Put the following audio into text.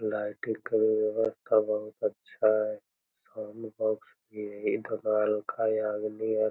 Lighting के व्यवस्था बहुत हेय साउंड बॉक्स भी यही हैं।